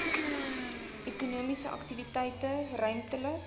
ekonomiese aktiwiteite ruimtelik